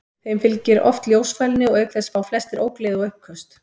Þeim fylgir oft ljósfælni og auk þess fá flestir ógleði og uppköst.